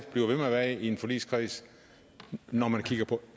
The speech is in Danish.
blive ved med at være i en forligskreds når man kigger på